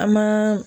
An ma